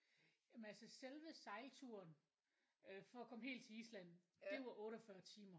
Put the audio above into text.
Jamen altså selve sejlturen øh for at komme helt til Island det var 48 timer